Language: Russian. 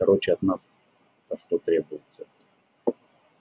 короче от нас-то что требуется